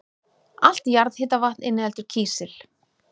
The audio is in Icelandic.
Allt jarðhitavatn inniheldur kísil.